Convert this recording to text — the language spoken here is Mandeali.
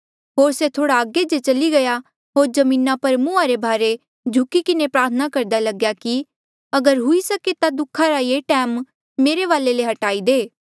होर से थोह्ड़ा अगे जे चली गया होर जमीना पर मुहां रे भारे झुकी किन्हें प्रार्थना करदा लग्या कि अगर हुई सके ता दुखा रा ये टैम मेरे वाले ले हट्टाई दे